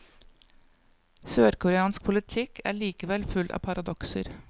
Sørkoreansk politikk er likevel full av paradokser.